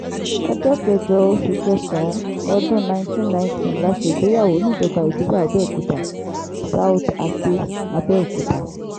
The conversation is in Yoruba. ọjọ́ kẹjọ oṣù kẹsàn-án ọdún 1990 la ṣègbéyàwó níjọba ìbílẹ̀ abẹ́ọ̀kútà south àkè abẹ́ọ̀kúta